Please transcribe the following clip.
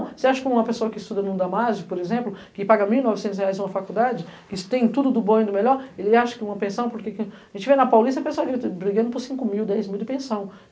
Você acha que uma pessoa que estuda no Damásio, por exemplo, que paga mil e novecentos em uma faculdade, que tem tudo do bom e do melhor, ele acha que uma pensão, porque que... A gente vê na Paulista a pessoa bri brigando por cinco mil, dez mil de pensão.